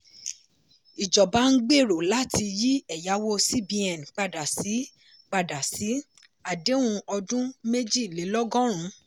ìjọba ń gbero láti yí ẹ̀yàwó cbn padà sí padà sí àdéhùn ọdún méjìlélọ́gọ́rùn.